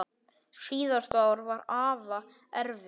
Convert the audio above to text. Síðasta ár var afa erfitt.